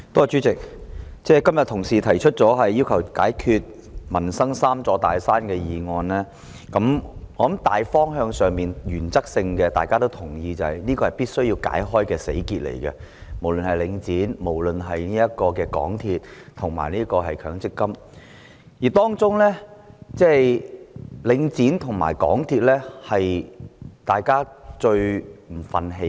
主席，今天同事提出"要求政府解決民生'三座大山'"的議案，我相信大家在大方向和原則上也認同無論是領展房地產投資信託基金、香港鐵路有限公司或強積性公積金對沖機制，均是必須解開的死結。